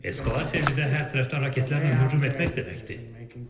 Eskalasiya bizə hər tərəfdən raketlərlə hücum etmək deməkdir.